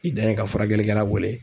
I dan ye ka furakɛlikɛla wele.